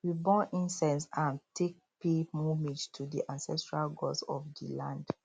we burn incense um to take pay homage to di ancestral gods of di land